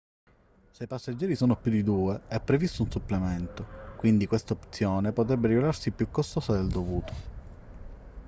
se i passeggeri sono più di 2 è previsto un supplemento quindi questa opzione potrebbe rivelarsi più costosa del dovuto